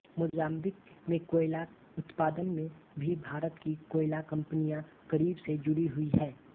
Mozambique में कोयला उत्पादन में भी भारत की कोयला कंपनियां करीब से जुड़ी हुई हैं